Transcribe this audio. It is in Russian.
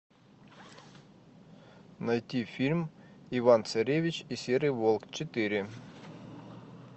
найти фильм иван царевич и серый волк четыре